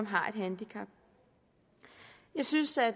har et handicap jeg synes at